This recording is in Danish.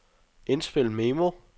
indspil memo